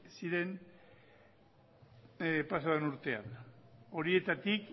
ziren pasaden urtean horietatik